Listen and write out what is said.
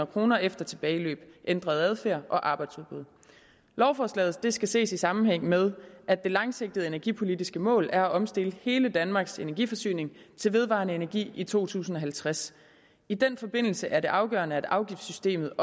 kroner efter tilbageløb ændret adfærd og arbejdsudbud lovforslaget skal ses i sammenhæng med at det langsigtede energipolitiske mål er at omstille hele danmarks energiforsyning til vedvarende energi i to tusind og halvtreds i den forbindelse er det afgørende at afgiftssystemet